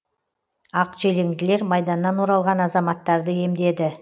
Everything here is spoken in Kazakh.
ақ желеңділер майданнан оралған азаматтарды емдеді